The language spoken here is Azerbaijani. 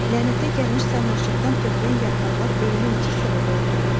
Lənətə gəlmiş sarmaşıqdan tökülən yarpaqlar ölümə necə səbəb ola bilər?